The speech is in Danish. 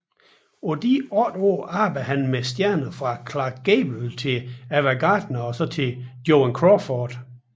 På disse otte år arbejdede han med stjerner fra Clark Gable til Ava Gardner til Joan Crawford